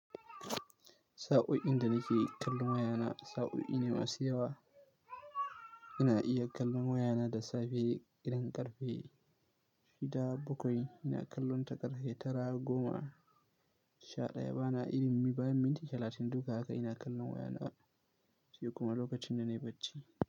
Sa'o'in da nake kallon wayana, sa'o'i ne masu yawa. Ina iya kallon wayana da safe, idan karfe shida bakwai, ina kallonta karfe tara goma sha ɗaya. Bana irin mi bayan minti talatin. Duka haka ina kallon wayana, sai kuma lokacin da na yi bacci.